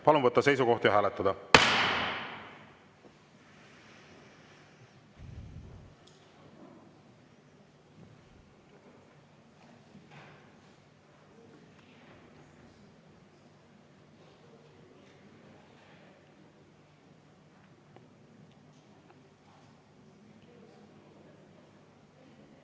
Palun võtta seisukoht ja hääletada!